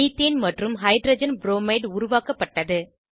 methane மற்றும் hydrogen bromide உருவாக்கப்பட்டது